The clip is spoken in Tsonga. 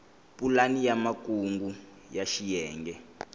pulani ya makungu ya xiyenge